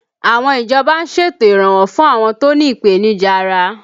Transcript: Àwọn ìjọba ń ṣètò iranwọ fún àwọn tó ní ipenija ara